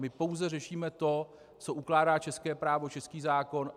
My pouze řešíme to, co ukládá české právo, český zákon.